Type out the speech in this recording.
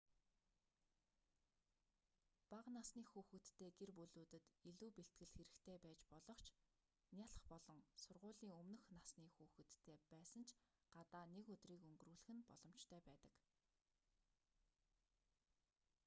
бага насны хүүхэдтэй гэр бүлүүдэд илүү бэлтгэл хэрэгтэй байж болох ч нялх болон сургуулийн өмнөх насны хүүхэдтэй байсан ч гадаа нэг өдрийг өнгөрүүлэх нь боломжтой байдаг